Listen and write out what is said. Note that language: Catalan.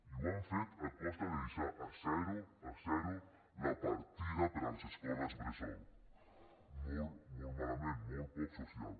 i ho han fet a costa de deixar a zero a zero la partida per a les escoles bressol molt molt malament molt poc social